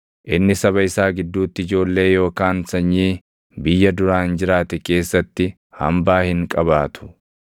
Inni saba isaa gidduutti ijoollee yookaan sanyii, biyya duraan jiraate keessatti hambaa hin qabaatu.